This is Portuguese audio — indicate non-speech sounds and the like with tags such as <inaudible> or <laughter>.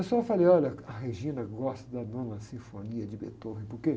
Eu só falei, olha, a <unintelligible> gosta da Nona Sinfonia de Beethoven, por quê?